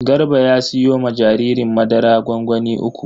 Garba ya siyo ma jaririn madara gwangwani uku.